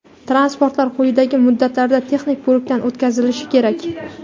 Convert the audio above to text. Transportlar quyidagi muddatlarda texnik ko‘rikdan o‘tkazilishi kerak:.